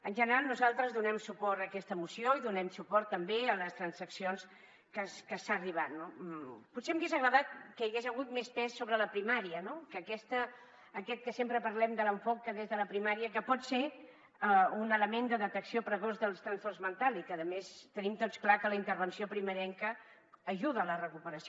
en general nosaltres donem suport a aquesta moció i donem suport també a les transaccions a què s’ha arribat no potser m’hauria agradat que hi hagués hagut més pes sobre la primària no que sempre parlem de l’enfocament des de la primària que pot ser un element de detecció precoç dels trastorns mentals i que a més tenim tots clar que la intervenció primerenca ajuda a la recuperació